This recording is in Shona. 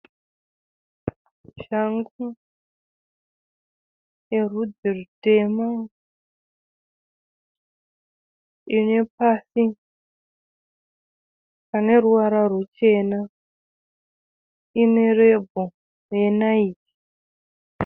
Shangu yerudzi rwutema, ine pasi pane ruvara ruchena. Ine rebho renaiki.